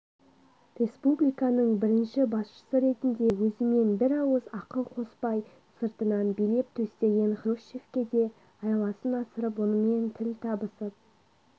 республиканың бірінші басшысы ретінде өзімен бір ауыз ақыл қоспай сыртынан билеп-төстеген хрущевке де айласын асырып онымен тіл табысып